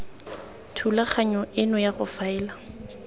thulaganyo eno ya go faela